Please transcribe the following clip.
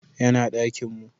Ya na dakinmu